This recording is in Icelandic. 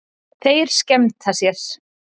Þeir skemmta sér.